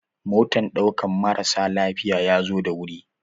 Motan ɗaukan marasa lafiya ya zo da wuri.